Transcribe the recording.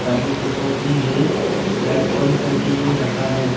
पानी बोतल भी है लाइट ऑन करके भी रखा है।